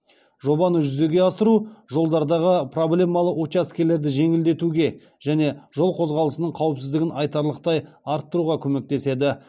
жобаны жүзеге асыру жолдардағы проблемалы учаскелерді жеңілдетуге және жол қозғалысының қауіпсіздігін айтарлықтай арттыруға көмектеседі